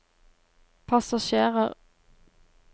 passasjerer